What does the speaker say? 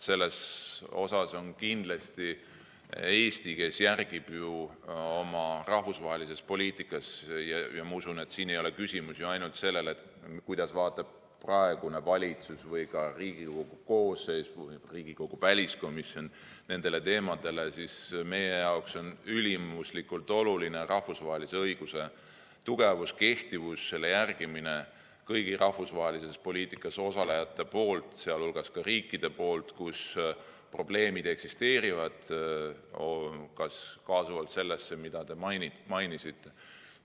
Eesti kindlasti järgib ju oma rahvusvahelises poliitikas ja ma usun, et siin ei ole küsimus ainult selles, kuidas vaatab praegune valitsus või ka Riigikogu koosseis ning Riigikogu väliskomisjon nendele teemadele, vaid meie jaoks on ülimuslikult oluline rahvusvahelise õiguse tugevus, kehtivus ja selle järgimine kõigi rahvusvahelises poliitikas osalejate poolt, sh riikide poolt, kus eksisteerivad probleemid, kaasa arvatud see, mida te mainisite.